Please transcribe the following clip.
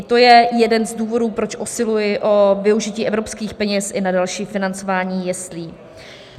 I to je jeden z důvodů, proč usiluji o využití evropských peněz i na další financování jeslí.